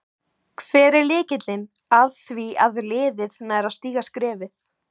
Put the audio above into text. Hver er lykillinn að því að liðið nær að stíga skrefið?